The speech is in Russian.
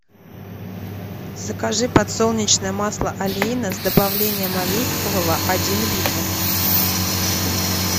закажи подсолнечное масло олейна с добавлением оливкового один литр